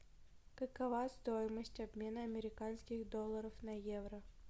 какова стоимость обмена американских долларов на евро